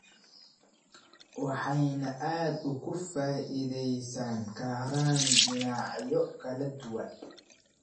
waxayna aad uga faa'iidaysan karaan dhinacyo kala duwan.